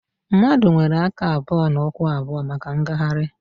Mmadụ nwere aka abụọ na ụkwụ abụọ maka mgagharị